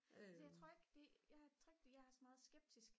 altså jeg tror ikke jeg er så meget skeptisk